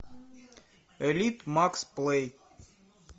элит макс плей